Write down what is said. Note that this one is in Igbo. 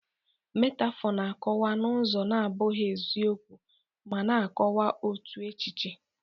Metaphor na-akọwa n'ụzọ na-abụghị eziokwu, ma na-akọwa otu echiche